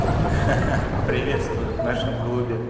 ха-ха приветствую в нашем клубе